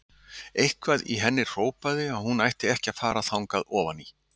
Eitthvað í henni hrópaði að hún ætti ekki að fara þangað ofan í.